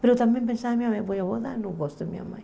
Mas eu também pensava, minha mãe, não gosto da minha mãe.